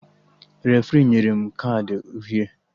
Refri nyere m kaadị uhie